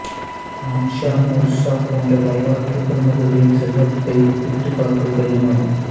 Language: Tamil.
மான்சா மூசா போன்ற வரலாற்றுப் பிரமுகர்களின் செல்வத்தை ஒப்பிட்டுப் பார்ப்பது கடினம் ஆகும்